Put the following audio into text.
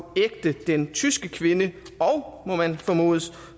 ægte den tyske kvinde og må man formode